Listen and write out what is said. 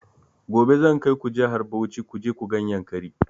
Gobe zan kaiku jihar Bauchi kuje ku gan yankari